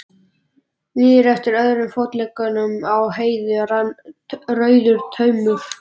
Niður eftir öðrum fótleggnum á Heiðu rann rauður taumur.